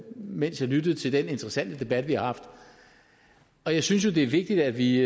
mens jeg lyttede til den interessante debat vi har haft jeg synes jo det er vigtigt at vi